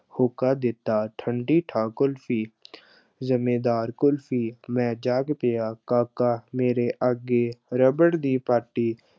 ਹੋਕਾ ਦਿੱਤਾ, ਠੰਢੀ-ਠਾਰ ਕੁਲਫ਼ੀ ਜ਼ਮੇਦਾਰ ਕੁਲਫ਼ੀ ਮੈਂ ਜਾਗ ਪਿਆ, ਕਾਕਾ ਮੇਰੇ ਆਗੇ ਰਬੜ ਦੀ ਪਾਟੀ